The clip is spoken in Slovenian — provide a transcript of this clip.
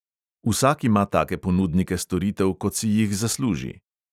Vsak ima take ponudnike storitev, kot si jih zasluži.